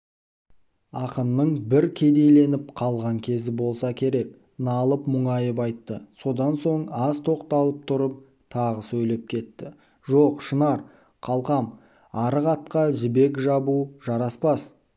ақынның бір кедейленіп қалған кезі болса керек налып-мұңайып айтты содан соң аз тоқталып тұрып тағы сөйлеп кетті жоқ шынар қалқам арық атқа жібек жабу жараспас